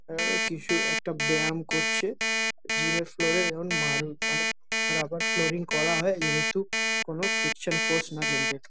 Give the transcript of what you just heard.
আ কিছু একটা ব্যায়াম করছে। জিম এর ফ্লোর এ এধন মার মানে রাবার ফ্লোরিং করা হয় যেহেতু কোন ফ্রিকশন ফোর্স না জেনারেট --